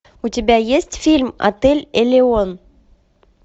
у тебя есть фильм отель элеон